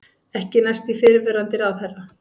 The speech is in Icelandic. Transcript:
Ekki næst í fyrrverandi ráðherra